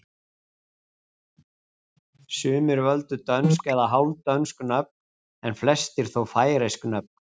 Sumir völdu dönsk eða hálfdönsk nöfn en flestir þó færeysk nöfn.